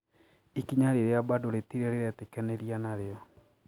Ikinya riria bado ritirĩ ririitikaniria nario.